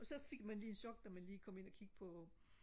og så fik man lige et chok da man lige kom ind og kigge på